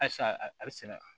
Halisa a bɛ sɛnɛ